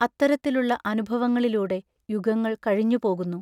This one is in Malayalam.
അത്തരത്തിലുള്ള അനുഭവങ്ങളിലൂടെ യുഗങ്ങൾ കഴിഞ്ഞു പോകുന്നു.